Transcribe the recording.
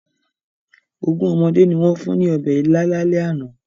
Ogún ọmọdé ni wọ́n fún ní ọbẹ̀ ila lálẹ́ àná.